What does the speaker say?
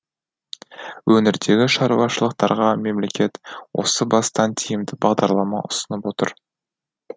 өңірдегі шаруашылықтарға мемлекет осы бастан тиімді бағдарлама ұсынып отыр